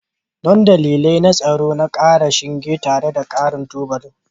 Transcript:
Don dalilai na tsaro na ƙara shinge tare da ƙarin tubalan